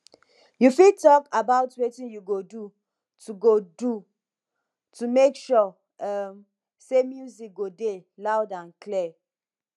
you fit talk about wetin you go do to go do to make sure um say di music dey loud and clear